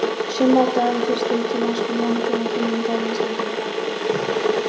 Sumardagurinn fyrsti er til marks um langtíma kímnigáfu Íslendinga.